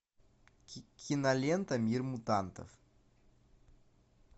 кинолента мир мутантов